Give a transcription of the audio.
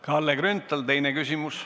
Kalle Grünthal, teine küsimus.